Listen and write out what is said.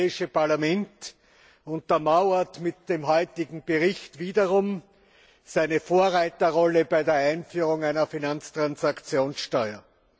Das Europäische Parlament untermauert mit dem heutigen Bericht wiederum seine Vorreiterrolle bei der Einführung einer Finanztransaktionssteuer.